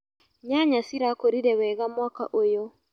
Nyanya cirakũrire wega mwaka ũyũ.